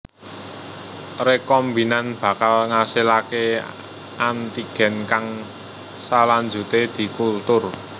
Rekombinan bakal ngasilaké antigen kang salanjuté dikultur